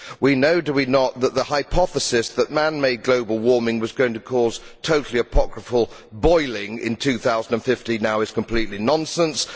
We know, do we not, that the hypothesis that man made global warming was going to cause totally apocryphal boiling in 2050 now is completely nonsense.